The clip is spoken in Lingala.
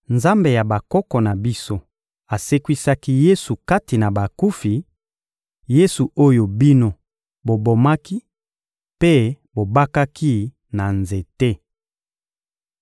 Nzambe ya bakoko na biso asekwisaki Yesu kati na bakufi, Yesu oyo bino bobomaki mpe bobakaki na nzete.